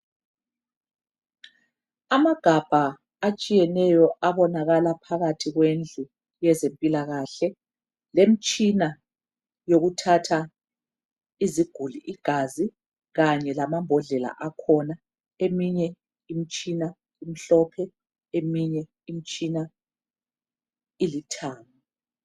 Amagabha atshiyeneyo abonakala phakathi kwendlu yezempilakahle lemitshina yokuthatha iziguli igazi kanye lamabhodlela akhona eminye imitshina imhlophe eminye imitshina ilithanga.